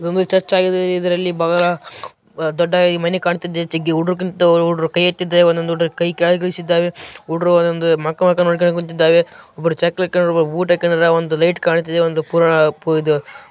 ಇದು ಒಂದು ಚರ್ಚ್‌ ಆಗಿದೆ ಇದರಲ್ಲಿ ಬಗಲ ದೊಡ್ಡ ಮನಿ ಕಾಣ್ತಿದೆ ಜಗ್ಗಿ ಉಡುಗ್ರ್ಯಾಂತ್ ಉಡುಗ್ರು ಒಂದೊಂದು ಕೈ ಯೆತ್ತಿದೆ ಕೈ ಕೆಳಗಿಳಿಸಿದ್ದಾವೆ ಉಡ್ರು ಒಂದ್ ಮಕ ಮಕಾ ನೋಡ್ಕಂಡ್ ಕುಂತಿದ್ದಾವೆ. ಒಬ್ರು ಚಕ್ ಲಕ್ಕಂದ್ರ ಒಬ್ರು ಬೂಟ್ ಅಕ್ಕನ್ದ್ರ ಒಂದು ಲೈಟ್ ಕಾಣುತ್ತಿದೆ ಒಂದು ಪುರ ಪೂ ಇದು--